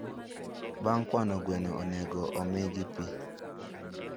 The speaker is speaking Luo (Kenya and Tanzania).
Bng kwano gweno onego omigi pii